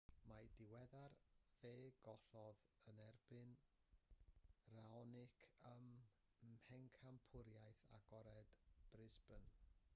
yn ddiweddar fe gollodd yn erbyn raonic ym mhencampwriaeth agored brisbane